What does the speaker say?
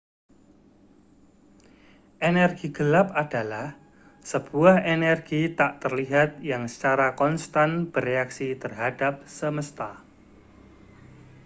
energi gelap adalah sebuah energi tak terlihat yang secara konstan bereaksi terhadap semesta